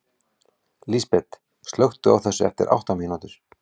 Lísbet, slökktu á þessu eftir átta mínútur.